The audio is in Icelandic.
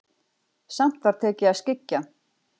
Samt var tekið að skyggja.